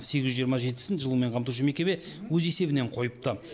сегіз жүз жиырма жетісін жылумен қамтушы мекеме өз есебінен қойыпты